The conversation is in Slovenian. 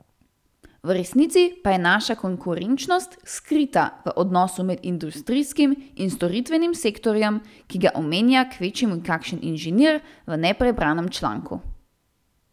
V resnici pa je naša konkurenčnost skrita v odnosu med industrijskim in storitvenim sektorjem, ki ga omenja kvečjemu kakšen inženir v neprebranem članku.